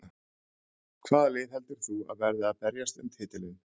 Hvaða lið heldur þú að verði að berjast um titilinn?